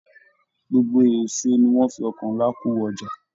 Gbogbo èso ní wọn fí ọkọ nlá ko wọ ọjà.